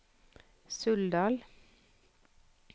Suldal